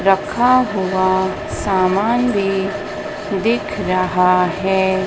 रखा हुआ सामान भी दिख रहा है।